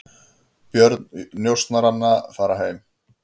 Börn njósnaranna farin heim